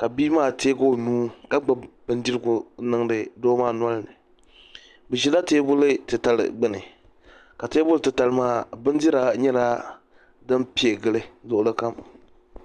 ka bia maa teegi o nuu ka gbubi bindirigu n niŋdi doo maa nolini bi ʒila teebuli titali gbuni ka teebuli titali maa bindira nyɛla din pɛ n gili luɣuli kam